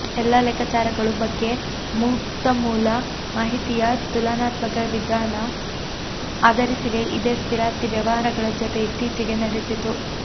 ಎಲ್ಲಾ ಲೆಕ್ಕಾಚಾರಗಳು ಬಗ್ಗೆ ಮುಕ್ತ ಮೂಲ ಮಾಹಿತಿಯ ತುಲನಾತ್ಮಕ ವಿಧಾನ ಆಧರಿಸಿವೆ ಇದೇ ಸ್ಥಿರಾಸ್ತಿ ವ್ಯವಹಾರಗಳ ಜೊತೆ ಇತ್ತೀಚೆಗೆ ನಡೆಸಿತು